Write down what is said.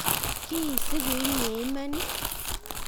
kiisiku inye iman?